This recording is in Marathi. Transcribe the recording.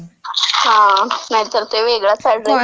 हां. नाहीतर ते वेगळ्याच अॅड्रेसवर..